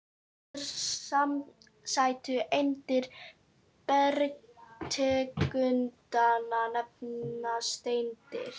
Þessar smæstu eindir bergtegundanna nefnast steindir.